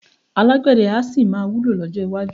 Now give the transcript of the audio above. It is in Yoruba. Alágbẹ̀dẹ́ a sì máa wúlò lọ́jọ́ iwájú